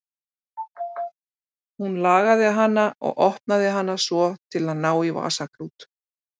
Hún lagaði hana og opnaði hana svo til að ná í vasaklút.